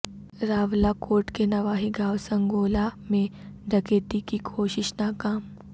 راولاکوٹ کے نواحی گاوں سنگولہ میں ڈکیتی کی کوشش ناکام